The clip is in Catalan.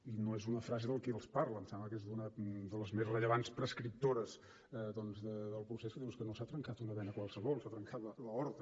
i no és una frase de qui els parla em sembla que és una de les més rellevants prescriptores del procés que diu és que no s’ha trencat una vena qualsevol s’ha trencat l’aorta